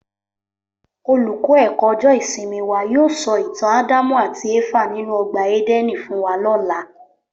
Olùkọ́ ẹ̀kọ́ ọjọ́ ìsinmi wa yóò sọ ìtàn Ádámù àti Éfà nínú ọgbà Édẹ́nì fún wa lọ́la